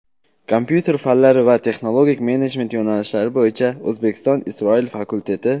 kompyuter fanlari va texnologik menejment yo‘nalishlari bo‘yicha O‘zbekiston – Isroil fakulteti;.